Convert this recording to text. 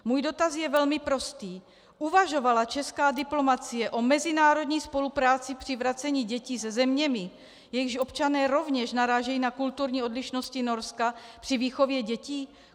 Můj dotaz je velmi prostý: Uvažovala česká diplomacie o mezinárodní spolupráci při vracení dětí se zeměmi, jejichž občané rovněž narážejí na kulturní odlišnosti Norska při výchově dětí?